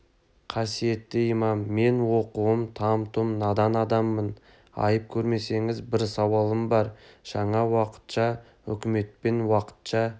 қасиетті имам мен оқуым там-тұм надан адаммын айып көрмесеңіз бір сауалым бар жаңа уақытша үкіметпен уақытша